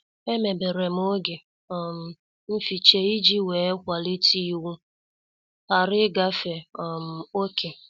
Emeberem oge um mficha iji wee kwalite iwu ghara ịgafe um oké.